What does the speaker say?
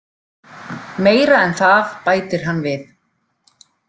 Meira en það, bætir hann við.